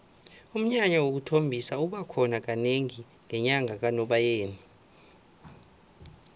umnyanya wokuthombisa uba khona kanengi ngenyanga kanobayeni